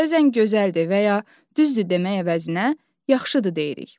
Bəzən gözəldir və ya düzdür demək əvəzinə yaxşıdır deyirik.